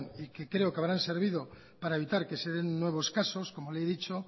y que creo que habrán servido para evitar que se den nuevos casos como le he dicho